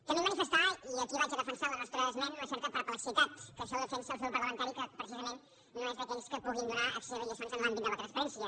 també manifestar i aquí vaig a defensar la nostra esmena una certa perplexitat que això ho defensi el seu grup parlamentari que precisament no és d’aquells que puguin donar excessives lliçons en l’àmbit de la transparència